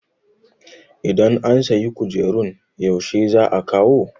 idan an sayi kujerun yaushe za a kawo?